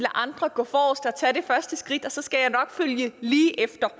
andre gå forrest og tage det første skridt og så skal man nok følge lige efter